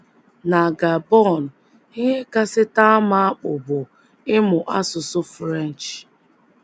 Na Gabon, ihe kasị taa m akpụ bụ ịmụ asụsụ French.